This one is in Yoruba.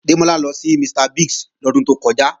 Démọ́lá lọ sí Mr. Biggs lọ́dún tó kọjá